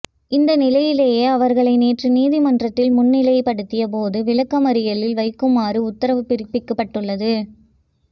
இந்நிலையிலேயே அவர்களை நேற்று நீதிமன்றத்தில் முன்னிலைப்படுத்தியப்போது விளக்கமறியலில் வைக்குமாறு உத்தரவு பிறப்பிக்கப்பட்டுள்ளது